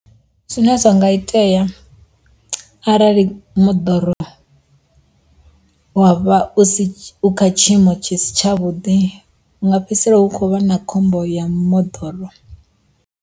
Zwine zwa nga itea arali moḓoro wa vha u si kha tshiimo tshi si tshavhuḓi nga fhedzisela hu kho vha na khombo ya moḓoro.